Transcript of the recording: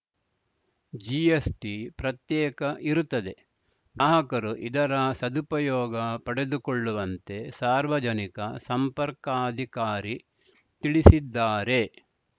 GST ಪ್ರತ್ಯೇಕ ಇರುತ್ತದೆ ಗ್ರಾಹಕರು ಇದರ ಸದುಪಯೋಗ ಪಡೆದುಕೊಳ್ಳುವಂತೆ ಸಾರ್ವಜನಿಕ ಸಂಪರ್ಕಾಧಿಕಾರಿ ತಿಳಿಸಿದ್ದಾರೆ